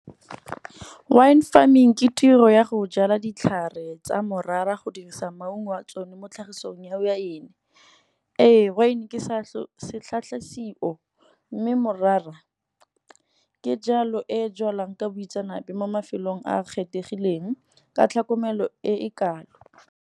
Wine farming ke tiro ya go jala ditlhare tsa morara go dirisa maungo wa tsone mo tlhagisong ya wine. Ee wine ke mme morara ke jalo e e jalwang ka boitseanape mo mafelong a a kgethegileng ka tlhokomelo e e kalo.